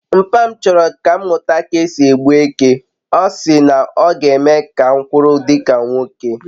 mpa m choro ka m muta ka esi e gbu eke, osi na oga eme m ka m kwuru dika nwoke